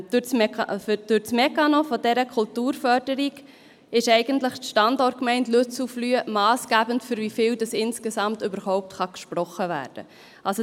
Durch den Mechanismus dieser Kulturförderung ist die Standortgemeinde Lützelflüh massgebend dafür, wie viel Geld insgesamt überhaupt gesprochen werden kann.